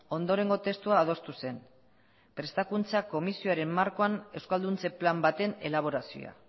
ondorengo testua adostu zen prestakuntza komisioaren markoan euskalduntze plan baten elaborazioa